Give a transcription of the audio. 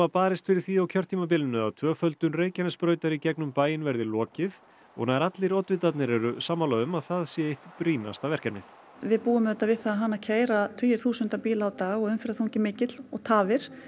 barist fyrir því á kjörtímabilinu að tvöföldun Reykjanesbrautar í gegnum bæinn verði lokið og nær allir oddvitarnir eru sammála um að það sé eitt brýnasta verkefnið við búum auðvitað við það að hana keyra tugir þúsunda bíla á dag og umferðarþungi mikill og tafir